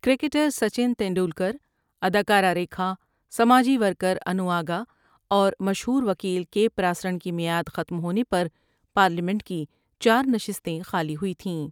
Cricketer Sachin Tendulkar, اداکارہ ریکھا ، ساجی ورکرانوآ گا اور مشہور وکیل کے پراسرن کی معیاد ختم ہونے پر پارلیمنٹ کی چارشستیں خالی ہوئیں تھیں ۔